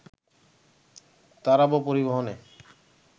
তারাবো পরিবহনে